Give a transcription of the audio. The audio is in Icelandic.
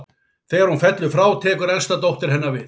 Þegar hún fellur frá tekur elsta dóttir hennar við.